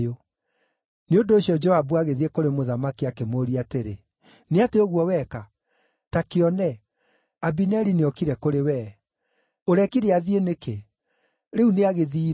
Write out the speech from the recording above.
Nĩ ũndũ ũcio Joabu agĩthiĩ kũrĩ mũthamaki akĩmũũria atĩrĩ, “Nĩ atĩa ũguo weka? Ta kĩone, Abineri nĩokire kũrĩ wee. Ũrekire athiĩ nĩkĩ? Rĩu nĩagĩthiire!